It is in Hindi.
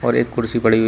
और एक कुर्सी पड़ी हुई--